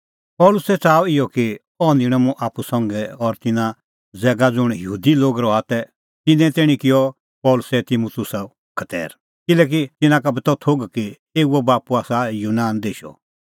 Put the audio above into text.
पल़सी च़ाहअ इहअ कि अह निंणअ मुंह आप्पू संघै और तिन्नां ज़ैगा ज़ुंण यहूदी लोग रहा तै तिन्नें तैणीं किअ पल़सी तिमुतुसो खतैर किल्हैकि तिन्नां का बी त थोघ कि एऊओ बाप्पू आसा यूनान देशो